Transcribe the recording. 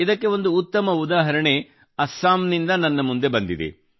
ಇದಕ್ಕೆ ಒಂದು ಉತ್ತಮ ಉದಾಹರಣೆ ಅಸ್ಸಾಂ ನಿಂದ ನನ್ನ ಮುಂದೆ ಬಂದಿದೆ